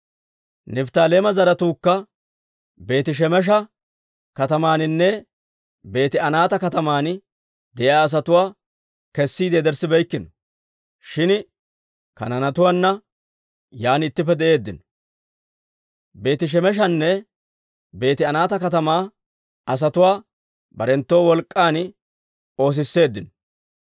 Nifttaaleema zaratuukka Beeti-Shemesha katamaaninne Beeti-Anaata kataman de'iyaa asatuwaa kessiide yederssibeykkino; shin Kanaanetuwaana yaan ittippe de'eeddino. Beeti-Shemeshanne Beeti-Anaata katamaa asatuwaa barenttoo wolk'k'an oosisseeddino.